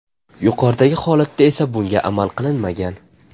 Yuqoridagi holatda esa bunga amal qilinmagan.